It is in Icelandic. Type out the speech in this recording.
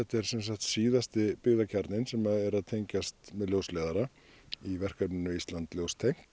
er sam sagt síðasti byggðakjarninn sem er að tenjgast með ljósleiðara í verkefninu Ísland ljóstengt